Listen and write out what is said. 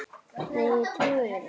Nei, ég trúi þér ekki.